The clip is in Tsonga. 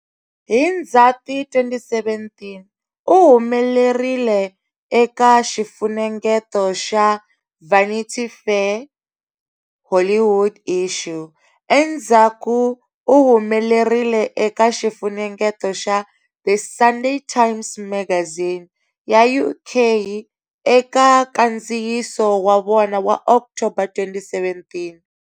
Hi Ndzhati 2017, u humelerile eka xifunengeto xa"Vanity Fair" Hollywood Issue. Endzhaku u humelerile eka xifunengeto xa"The Sunday Times Magazine" ya UK eka nkandziyiso wa vona wa October 2017.